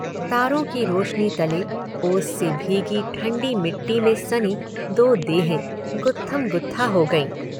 तारों की रोशनी तले ओस से भीगी ठंडी मिट्टी में सनी दो देहें गुत्थमगुत्था हो गईं।